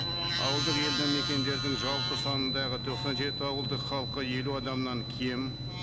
ауылдық елді мекендердің жалпы санындағы тоқсан жеті ауылдың халқы елу адамнан кем